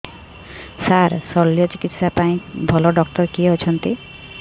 ସାର ଶଲ୍ୟଚିକିତ୍ସା ପାଇଁ ଭଲ ଡକ୍ଟର କିଏ ଅଛନ୍ତି